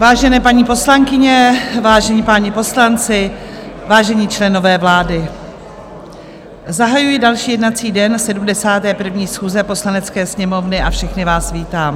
Vážené paní poslankyně, vážení páni poslanci, vážení členové vlády, zahajuji další jednací den 71. schůze Poslanecké sněmovny a všechny vás vítám.